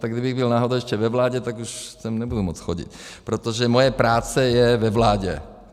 Tak kdybych byl náhodou ještě ve vládě, tak už sem nebudu moct chodit, protože moje práce je ve vládě.